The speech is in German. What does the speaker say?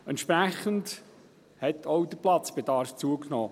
Entsprechend hat auch der Platzbedarf zugenommen.